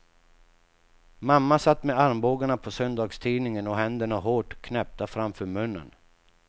Mamma satt med armbågarna på söndagstidningen och händerna hårt knäppta framför munnen.